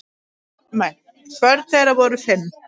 Börn þeirra voru fimm.